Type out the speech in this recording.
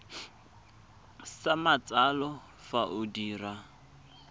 sa matsalo fa o dira